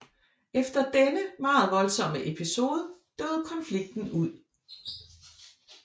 Efter denne meget voldsomme episode døde konflikten ud